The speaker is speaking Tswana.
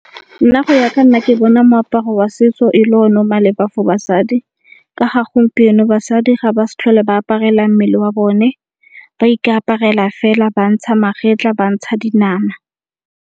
Nna go ya ka nna ke bona moaparo wa setso e le o ne o maleba for basadi. Ka ga gompieno basadi ga ba s'tlhole ba aparela mmele wa bone ba ikaparela fela ba ntsha magetla, ba ntsha dinama.